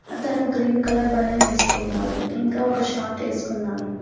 అతను green colour బనెన్ నేర్చుకున్నాడు ఇంకా ఒక షాట్ వేసుకున్నాడు.